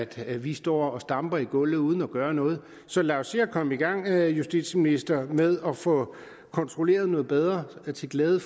vi står og stamper i gulvet uden at gøre noget så lad os se at komme i gang vil jeg justitsministeren med at få kontrolleret noget bedre til glæde